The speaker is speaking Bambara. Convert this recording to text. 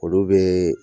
Olu bɛ